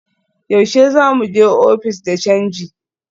Yaushe za mu je ofis de canji?